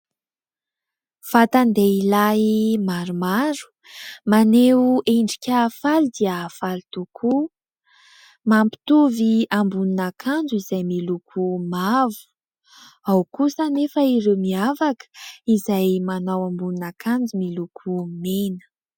Vatan-dehilahy maromaro maneho endrika faly dia faly tokoa, mampitovy ambonin'akanjo izay miloko mavo, ao kosa anefa ireo miavaka izay manao ambonin'akanjo miloko mena.